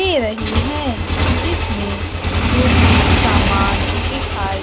दे रही है जिसमें कुछ सामान दिखाई--